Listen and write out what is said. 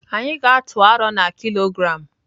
Anyị ga-atụ aro na kilogram.